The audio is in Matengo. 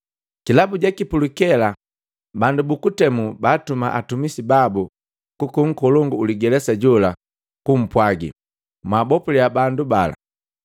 Kilabu jaki pulukela, bandu bukutemu baatuma atumisi babu kwaka nkolongu uligelesa jola kumpwagi,“ Mwabopuliya bandu bala.”